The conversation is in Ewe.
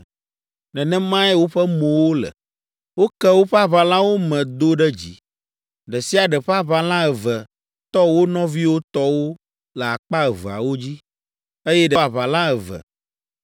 Nenemae woƒe mowo le. Woke woƒe aʋalawo me do ɖe dzi. Ɖe sia ɖe ƒe aʋala eve tɔ wo nɔviwo tɔwo le akpa eveawo dzi, eye ɖe sia ɖe tsyɔ aʋala eve.